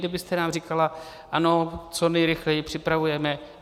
Kdybyste nám říkala ano, co nejrychleji připravujeme...